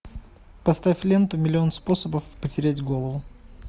поставь ленту миллион способов потерять голову